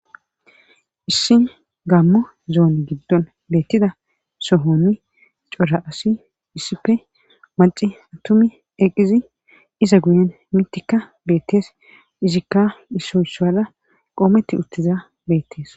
Issin gammo zoon giddon beettida sohonni cora asi issipe maci atumi eqizi iza guyen mitikka beettees izikka isoysuala qoometti uttiza beettees.